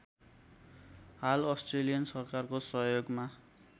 हाल अस्ट्रेलियन सरकारको सहयोगमा